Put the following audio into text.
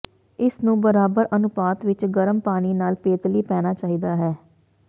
ਇਸ ਨੂੰ ਬਰਾਬਰ ਅਨੁਪਾਤ ਵਿਚ ਗਰਮ ਪਾਣੀ ਨਾਲ ਪੇਤਲੀ ਪੈਣਾ ਚਾਹੀਦਾ ਹੈ